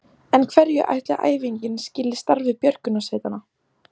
En hverju ætli æfingin skili starfi björgunarsveitanna?